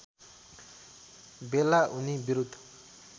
बेला उनी विरुद्द